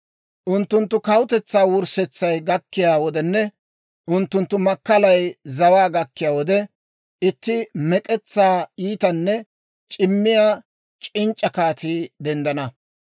«Unttunttu kawutetsaa wurssetsay gakkiyaa wodenne unttunttu makkalay zawaa gakkiyaa wode, itti mek'etsaa iitanne c'immiyaa c'inc'c'a kaatii denddana.